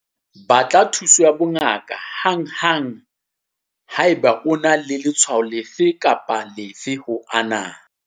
Batla thuso ya bongaka hanghang haeba o na le letshwao lefe kapa lefe ho ana.